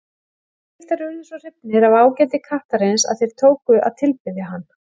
Egyptar urðu svo hrifnir af ágæti kattarins að þeir tóku að tilbiðja hann.